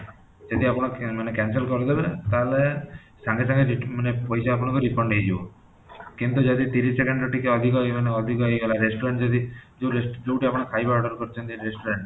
ଯଦି ଆପଣମାନେ cancel କରିଦେବେ ତାହାଲେ ସାଙ୍ଗେ ସାଙ୍ଗେ ମାନେ ପଇସା ଆପଣଙ୍କର refund ହେଇଯିବ କିନ୍ତୁ ଯଦି ତିରିଶ second ରୁ ଟିକେ ଅଧିକ ହେଇଯିବ ମାନେ ହେଇଗଲା restaurant ଯଦି ଯୋଉଠୁ ଆପଣ ଖାଇବା order କରିଛନ୍ତି restaurant